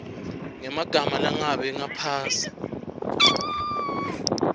ngemagama langabi ngaphasi